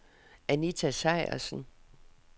Anita Sejersen